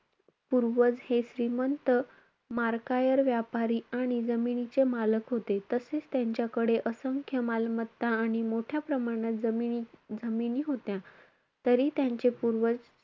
पूर्वज हे श्रीमंत मार्कायर व्यापारी आणि जमिनीचे मालक होते. तसेच त्यांच्याकडे असंख्य मालमत्ता आणि मोठ्या प्रमाणात जमिनी~ जमिनी होत्या.